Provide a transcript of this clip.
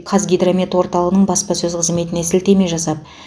қазгидромет орталығының баспасөз қызметіне сілтеме жасап